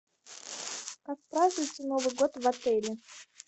отпраздновать новый год в отеле